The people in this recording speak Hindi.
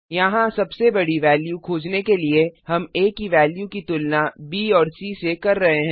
यहाँ सबसे बड़ी वेल्यू खोजने के लिए हम आ की वेल्यू की तुलना ब और सी से कर रहे हैं